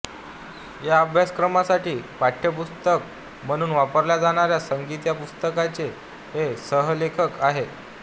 या अभ्यासक्रमासाठी पाठ्यपुस्तक म्हणून वापरल्या जाणाऱ्या संगीत या पुस्तकाचे ते सहलेखक आहेत